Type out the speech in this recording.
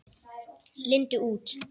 Lindu út.